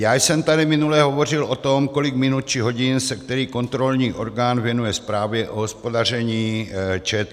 Já jsem tady minule hovořil o tom, kolik minut či hodin se který kontrolní orgán věnuje zprávě o hospodaření ČT.